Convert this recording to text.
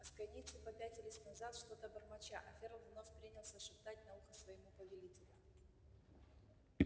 асконийцы попятились назад что-то бормоча а ферл вновь принялся шептать на ухо своему повелителю